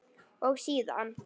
og síðan